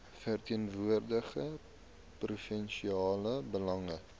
verteenwoordig provinsiale belange